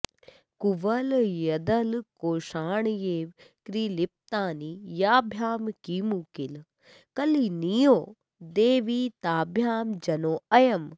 कुवलयदलकोषाण्येव कॢप्तानि याभ्यां किमु किल कलनीयो देवि ताभ्यां जनोऽयम्